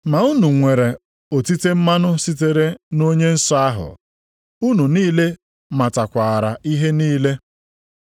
Ma unu nwere otite mmanụ sitere nʼOnye Nsọ ahụ, unu niile matakwara ihe niile.